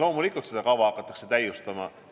Loomulikult seda kava hakatakse täiustama.